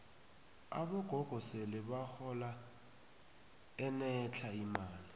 abogogo sele bahola enetlha imali